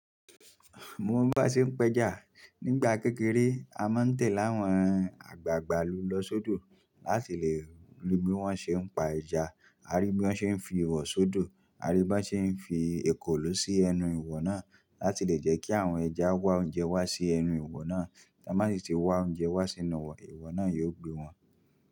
Mo ń mọ bí aṣe ń pẹ́jà. Nígbà kékeré a máa ń tẹ̀ láwọn àgbàgbà lu lọ sódò láti lè rí bí wọ́n ṣe ń pa ẹja, a rí bí wọ́n ṣe ń fi ihò sódò, a rí bí wọ́n ṣe ń fi ekòló sí ẹnu ihò náà láti lè jẹ́ kí àwọn ẹja wá oúnjẹ wá sí ẹnu ihò náà, tí a bá sì ti wá oúnjẹ wá sínú ihò náà yóò gbé wọn.